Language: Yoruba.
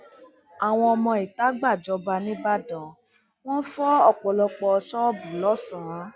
àwọn ọmọ ìta gbàjọba nígbàdàn wọn fọ ọpọlọpọ ṣọọbù lọsàn